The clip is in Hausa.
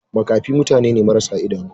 Makafi mutane ne marasa idanu.